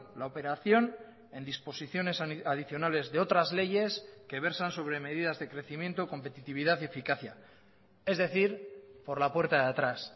la operación en disposiciones adicionales de otras leyes que versan sobre medidas de crecimiento competitividad y eficacia es decir por la puerta de atrás